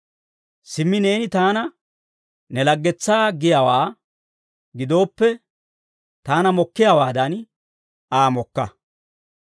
Simmi neeni taana ne laggetsaa giyaawaa gidooppe, taana mokkiyaawaadan, Aa mokka.